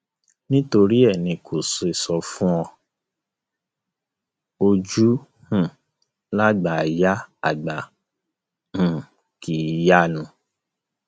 nítorí ẹ ní n kò ṣe sọ fún un ojú um lágbà ì yá àgbà um kì í yanu